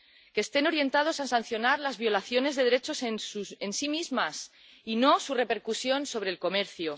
que estén orientados a sancionar las violaciones de derechos en sí mismas, y no su repercusión sobre el comercio.